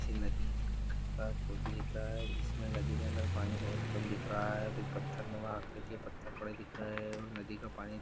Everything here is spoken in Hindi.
नदी का फोटू दिख रहा है इसमें नदी के अंदर पानी बहुत कम दिख रहा है कुछ पत्थर नुमा आकृति और पत्थर पड़े दिख रहे है और नदी का पानी